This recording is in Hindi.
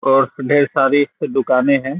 और ढेर सारी दुकाने है।